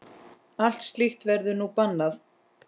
Allt slíkt verður nú bannað.